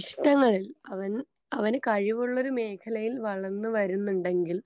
ഇഷ്ടങ്ങളിൽ അവൻ അവന് കഴിവുള്ളൊരു മേഖലയിൽ വളർന്ന് വരുന്നുണ്ടെങ്കിൽ.